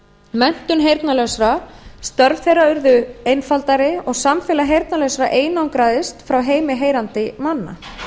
menntun heyrnarlausra störf þeirra urðu einfaldari og samfélag heyrnarlausra einangraðist frá heimi heyrandi manna